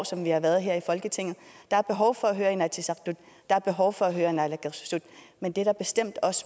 som vi har været her i folketinget der er behov for at høre inatsisartut der er behov for at høre naalakkersuisut men det er der bestemt